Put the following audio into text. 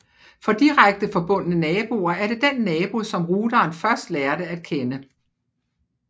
For direkte forbundne naboer er det den nabo som routeren først lærte at kende